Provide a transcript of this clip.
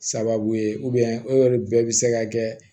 Sababu ye bɛɛ bɛ se ka kɛ